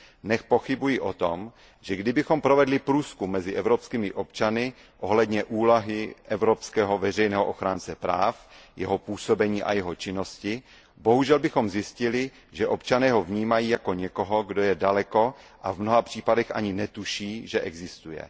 Nepochybuji o tom, že kdybychom provedli průzkum mezi evropskými občany ohledně úlohy evropského veřejného ochránce práv, jeho působení a jeho činnosti, bohužel bychom zjistili, že občané ho vnímají jako někoho, kdo je daleko, a v mnoha případech ani netuší, že existuje.